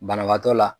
Banabaatɔ la